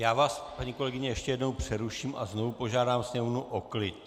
Já vás, paní kolegyně, ještě jednou přeruším a znovu požádám sněmovnu o klid.